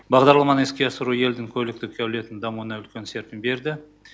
бағдарламаны іске асыру елдің көліктік әулетін дамуына үлкен серпін берді